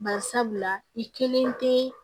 Bari sabula i kelen tɛ